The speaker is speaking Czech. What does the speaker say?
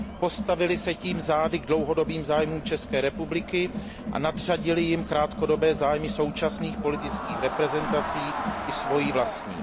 Postavili se tím zády k dlouhodobým zájmům České republiky a nadřadili jim krátkodobé zájmy současných politických reprezentací i svoje vlastní.